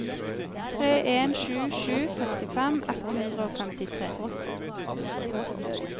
tre en sju sju sekstifem ett hundre og femtitre